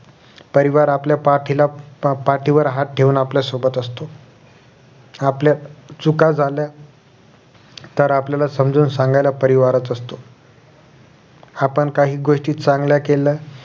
परिवार आपल्या पाठीला पा पाठीवर हात ठेवून आपल्या सोबत असतो. आपल्या चुका झाल्या तर आपल्याला समजून सांगायला परिवाराचं असतो आपण काही गोष्टी चांगल्या केल्या